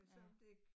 Ja